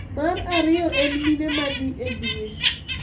Mar ariyo en mine ma dhi e dwe.